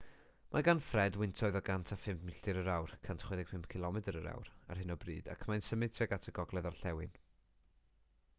mae gan fred wyntoedd o 105 milltir yr awr 165 cilomedr yr awr ar hyn o bryd ac mae'n symud tuag at y gogledd-orllewin